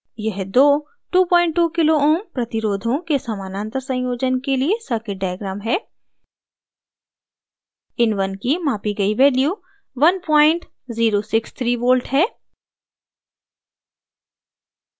यह दो 22k ω kilo ohms प्रतिरोधों के समानांतर संयोजन के लिए circuit diagram है in1 की मापी गई value 1063v है